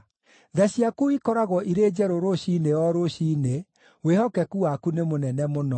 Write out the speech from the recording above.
Tha ciaku ikoragwo irĩ njerũ rũciinĩ o rũciinĩ, wĩhokeku waku nĩ mũnene mũno.